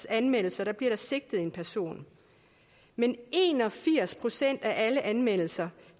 anmeldelser bliver der sigtet en person men en og firs procent af alle anmeldelser